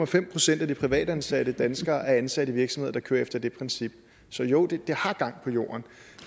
fem procent af de privatansatte danskere er ansat i virksomheder der kører efter det princip så jo det har gang på jorden